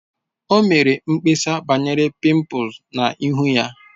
O mere mkpesa banyere pimples na ihu ya